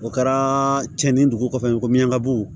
O kɛra cɛni dugu kɔfɛ ko ɲanabugu